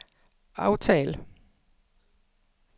aftal